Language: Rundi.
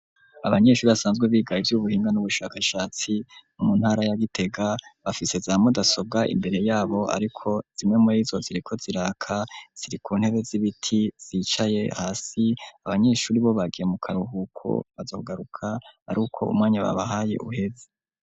Abanyeshuri, basanzwe biga ivy'ubuhinga, n'ubushakashatsi, mu ntara ya Gitega; bafise za mudasobwa, imbere yabo; ariko zimwe muri zo, ziriko ziraka, ziri ku ntebe z'ibiti, zicaye hasi; abanyeshuri bo, bagiye mu karuhuko, bazogaruka ari uko, umwanya babahaye, uheze.